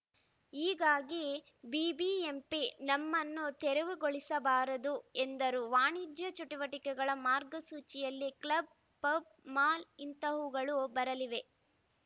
ಹೀಗಾಗಿ ಬಿಬಿಎಂಪಿ ನಮ್ಮನ್ನು ತೆರವುಗೊಳಿಸಬಾರದು ಎಂದರು ವಾಣಿಜ್ಯ ಚಟುವಟಿಕೆಗಳ ಮಾರ್ಗಸೂಚಿಯಡಿ ಕ್ಲಬ್‌ ಪಬ್‌ ಮಾಲ್‌ ಇಂತಹವುಗಳು ಬರಲಿವೆ